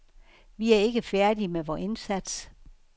Vi er ikke færdige med vor indsats.